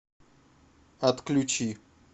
отключи